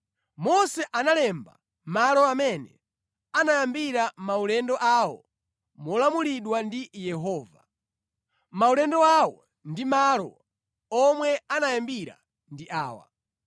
Mose analemba malo amene anayambira maulendo awo molamulidwa ndi Yehova. Maulendo awo ndi malo omwe anayambira ndi awa: